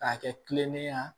K'a kɛ kilennenya